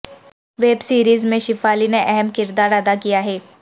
web series میں شیفالی نے اہم کردار ادا کیا ہے